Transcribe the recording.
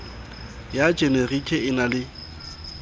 ya jenerike e na le